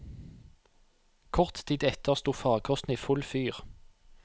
Kort tid etter sto farkosten i full fyr.